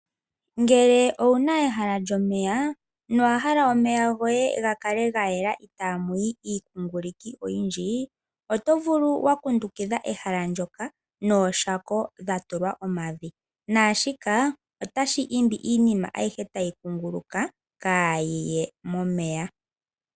Ngele owu na ehala lyomeya nowa hala omeya goye gakale gayela itamuyi iikunguluki oyindji oto vulu wakundukidha ehala ndyoka nooshako dha tulwa omavi nashika otashi imbi iinima ayihe tayi kunguluka kayi ye momeya.